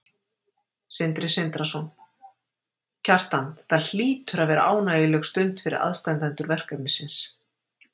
Sindri Sindrason: Kjartan þetta hlýtur að vera ánægjuleg stund fyrir aðstandendur verkefnisins?